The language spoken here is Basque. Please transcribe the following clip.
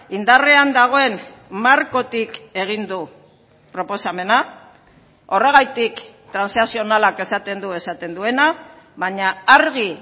indarrean dagoen markotik egin du proposamena horregatik transakzionalak esaten du esaten duena baina argi